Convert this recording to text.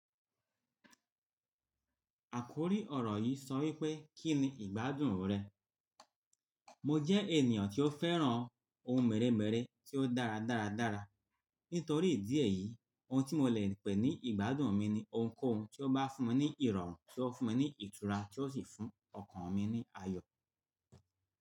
Àkórí ọ̀rọ̀ yìí sọ wípé “Kí ni ìgbádùn rẹ?” Mọ jẹ́ ènìyàn tí ó fẹ́ràn ohun mèremère tí ó dára dáradára. Nítorí ìdí èyí, ohun tí mo lè pè ní ìgbádùn mi ni ohunkóhun tí ó bá fún mi ní ìrọ̀rùn, tí ó fún mi ní ìtura, tí ó sì fún ọkàn mi ní ayọ̀.